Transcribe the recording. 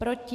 Proti?